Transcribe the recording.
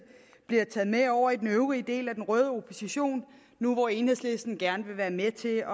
bliver taget med over i den øvrige del af den røde opposition nu hvor enhedslisten gerne vil være med til